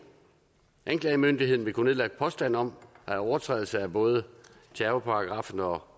anklagemyndigheden vil kunne påstand om overtrædelse af både terrorparagraffen og